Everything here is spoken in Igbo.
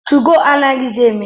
2go anaghịzi eme.